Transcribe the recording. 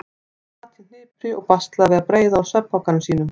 Hann sat í hnipri og baslaði við að breiða úr svefnpokanum sínum.